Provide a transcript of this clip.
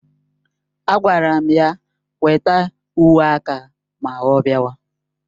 Agwara m ya weta uwe aka ma ọ bịawa